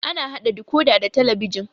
Ana haɗa dikodi da talabijin